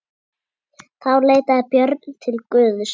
Þá leitaði Björn til Guðs.